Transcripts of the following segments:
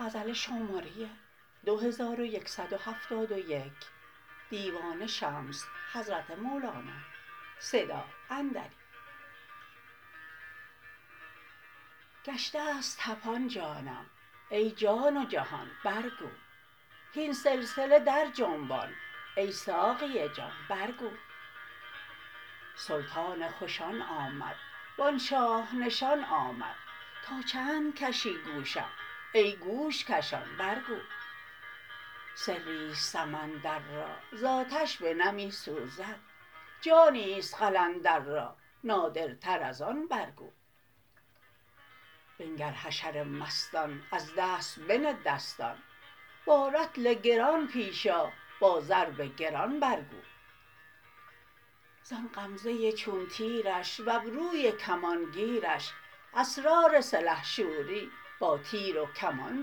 گشته ست طپان جانم ای جان و جهان برگو هین سلسله درجنبان ای ساقی جان برگو سلطان خوشان آمد و آن شاه نشان آمد تا چند کشی گوشم ای گوش کشان برگو سری است سمندر را ز آتش بنمی سوزد جانی است قلندر را نادرتر از آن برگو بنگر حشر مستان از دست بنه دستان با رطل گران پیش آ با ضرب گران برگو زان غمزه چون تیرش و ابروی کمان گیرش اسرار سلحشوری با تیر و کمان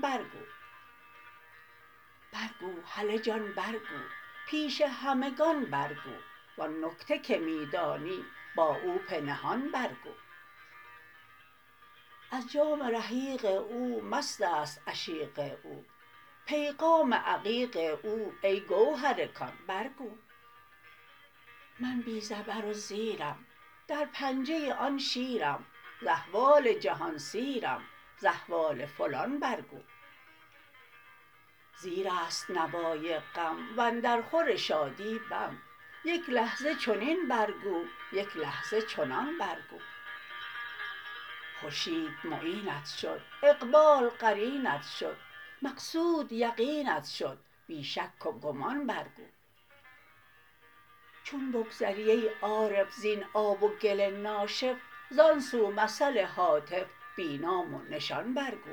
برگو برگو هله جان برگو پیش همگان برگو و آن نکته که می دانی با او پنهان برگو از جام رحیق او مست است عشیق او پیغام عقیق او ای گوهر کان برگو من بی زبر و زیرم در پنجه آن شیرم ز احوال جهان سیرم ز احوال فلان برگو زیر است نوای غم و اندرخور شادی بم یک لحظه چنین برگو یک لحظه چنان برگو خورشید معینت شد اقبال قرینت شد مقصود یقینت شد بی شک و گمان برگو چون بگذری ای عارف زین آب و گل ناشف زان سو مثل هاتف بی نام و نشان برگو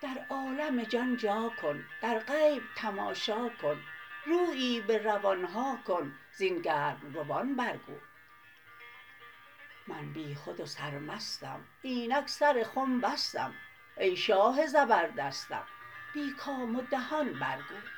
در عالم جان جا کن در غیب تماشا کن رویی به روان ها کن زین گرم روان برگو من بیخود و سرمستم اینک سر خم بستم ای شاه زبردستم بی کام و دهان برگو